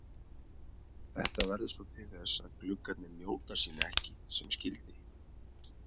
Þetta verður svo til þess að gluggarnir njóta sín ekki sem skyldi.